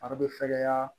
Fari bɛ fɛgɛya